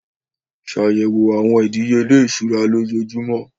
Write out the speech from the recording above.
Ṣàyẹ̀wò àwọn ìdíyelé ìṣúra lójoojúmọ́.